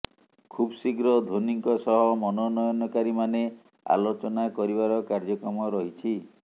ଖୁବ୍ଶୀଘ୍ର ଧୋନିଙ୍କ ସହ ମନୋନୟନକାରୀମାନେ ଆଲୋଚନା କରିବାର କାର୍ଯ୍ୟକ୍ରମ ରହିଛି